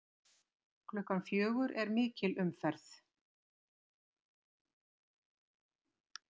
Klukkan fjögur er mikil umferð.